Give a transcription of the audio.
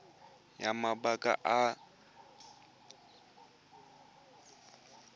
ya mabaka a phetiso le